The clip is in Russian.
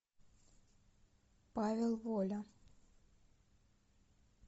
павел воля